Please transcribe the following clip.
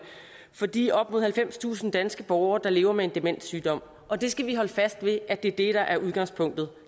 for de op mod halvfemstusind danske borgere der lever med en demenssygdom og vi skal holde fast ved at det er det der er udgangspunktet